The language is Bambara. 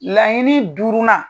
Laɲini duurunan.